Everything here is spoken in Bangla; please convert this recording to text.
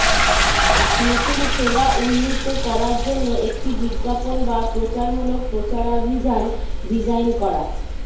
নতুন সেবা উন্নীত করার জন্য একটি বিজ্ঞাপন বা প্রচারমূলক প্রচারাভিযান ডিজাইন করা